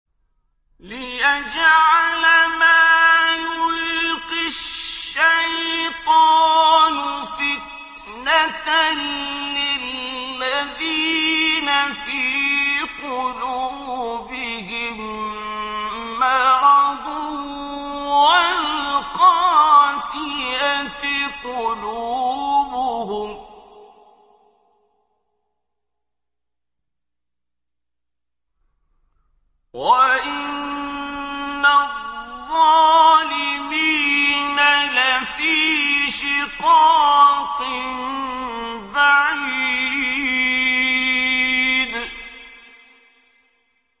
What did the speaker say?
لِّيَجْعَلَ مَا يُلْقِي الشَّيْطَانُ فِتْنَةً لِّلَّذِينَ فِي قُلُوبِهِم مَّرَضٌ وَالْقَاسِيَةِ قُلُوبُهُمْ ۗ وَإِنَّ الظَّالِمِينَ لَفِي شِقَاقٍ بَعِيدٍ